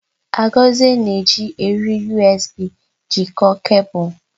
Agozie na-eji eriri USB jikọọ kebul.